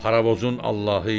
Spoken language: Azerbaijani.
Paravozun Allahı idi.